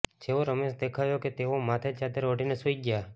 જેવો રમેશ દેખાયો કે તેઓ માથે ચાદર ઓઢીને સૂઈ ગયા